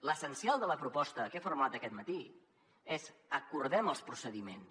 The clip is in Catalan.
l’essencial de la proposta que he formulat aquest matí és acordem els procediments